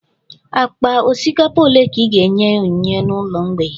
Akpa osikapa ole ka i ga-enye onyinye n'ụlọ mgbei?